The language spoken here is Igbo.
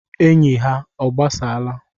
Enyi ha ọ gbasaala.